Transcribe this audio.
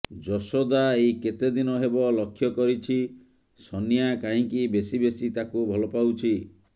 ଯଶୋଦା ଏଇ କେତେଦିନ ହେବ ଲକ୍ଷ୍ୟ କରିଛି ଶନିଆ କାହିଁକି ବେଶୀ ବେଶୀ ତାକୁ ଭଲପାଉଛି